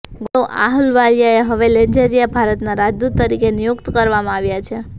ગૌરવ આહલુવાલિયાને હવે અલ્જેરિયામાં ભારતના રાજદૂત તરીકે નિયુકત કરવામાં આવ્યા છે